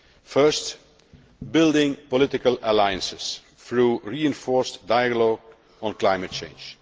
First, building political alliances through reinforced dialogue on climate change.